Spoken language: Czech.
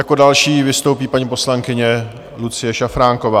Jako další vystoupí paní poslankyně Lucie Šafránková.